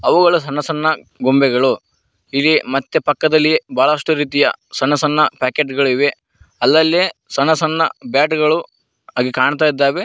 ಅವುಗಳು ಸಣ್ಣ ಸಣ್ಣ ಗೊಂಬೆಗಳು ಇವೆ ಮತ್ತೆ ಪಕ್ಕದಲ್ಲಿ ಬಹಳಷ್ಟು ರೀತಿಯ ಸಣ್ಣ ಸಣ್ಣ ಪ್ಯಾಕೆಟ್ ಗಳಿವೆ ಅಲ್ಲಲ್ಲಿ ಸಣ್ಣ ಸಣ್ಣ ಬೆಡ್ ಗಳು ಹಾಗೆ ಕಾಣ್ತಾಯಿದ್ದಾವೆ.